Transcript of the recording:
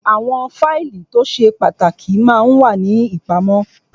Àwọn fáìlì tó ṣe pàtàkì ma ń wà ní ìpamọ́